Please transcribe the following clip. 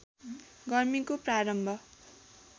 गर्मीको प्रारम्भ